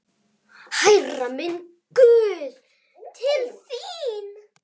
Hærra, minn guð, til þín.